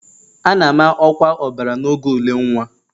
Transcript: A na-ama ọkwa ọbara n'oge ule nwa